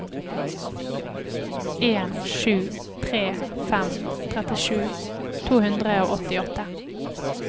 en sju tre fem trettisju to hundre og åttiåtte